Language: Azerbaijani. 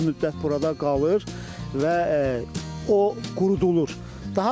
Bir müddət burada qalır və o qurudulur.